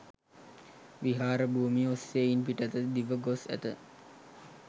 විහාර භූමිය ඔස්‌සේ ඉන් පිටතට දිව ගොස්‌ ඇත.